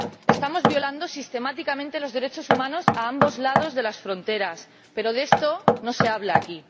Estamos violando sistemáticamente los derechos humanos a ambos lados de las fronteras, pero de esto no se habla aquí.